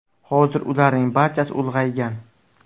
Hozir ularning barchasi ulg‘aygan.